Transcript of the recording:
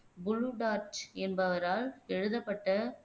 Plutarch என்பவரால் எழுதப்பட்ட